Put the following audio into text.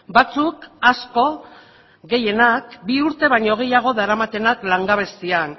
batzuk asko gehienak bi urte baino gehiago daramatenak langabezian